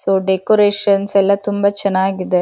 So decorations ಎಲ್ಲ ತುಂಬ ಚೆನ್ನಾಗಿದೆ.